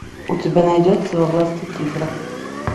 у тебя найдется во власти тигра